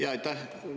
Jaa, aitäh!